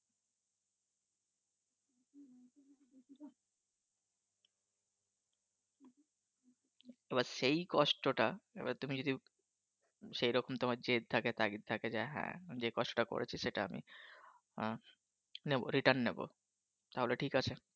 তো ব্যাস সেই কষ্টটা এবার তুমি যদি সেরকম তোমার জিদ থাকে তাগিদ থাকে যে হাঁ কষ্টটা করেছি সেটা আমি নেব Return নেব তাহলে ঠিক আছে